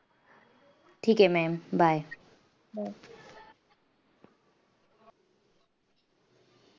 ठीक आहे ma'am bye.